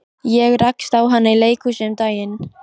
Ég rakst á hana í leikhúsi um daginn.